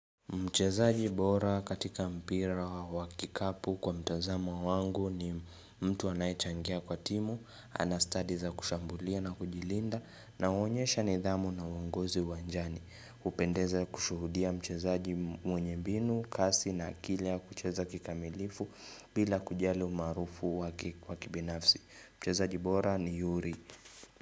Mchezaji bora katika mpira wa kikapu kwa mtozamo wangu ni mtu anayechangia kwa timu, anastadi za kushambulia na kujilinda na huonyesha nidhamu na uongozi uwanjani. Hupendeza kushuhudia mcheza jibu mwenye mbinu, kasi na akili ya kucheza kikamilifu bila kujali umarufu wakibinafsi. Mchezaji bora ni yuri.